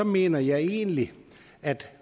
mener jeg egentlig at